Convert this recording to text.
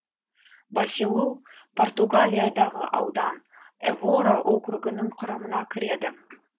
баселу португалиядағы аудан эвора округінің құрамына кіреді